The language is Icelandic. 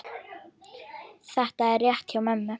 Þetta er rétt hjá mömmu.